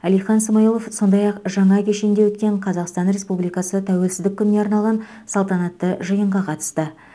әлихан смайылов сондай ақ жаңа кешенде өткен қазақстан республикасы тәуелсіздік күніне арналған салтанатты жиынға қатысты